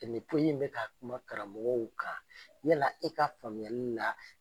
Finitigi in bɛ ka kuma karamɔgɔw kan, yala e ka faamuyali la